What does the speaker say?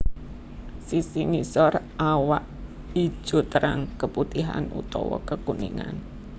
Sisi ngisor awak ijo terang keputihan utawa kekuningan